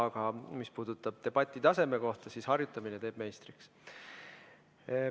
Aga mis puudutab debati taset, siis harjutamine teeb meistriks.